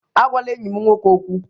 Agwala enyi m nwoke okwu!